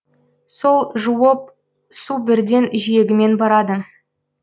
сол жуып су бірден жиегімен барады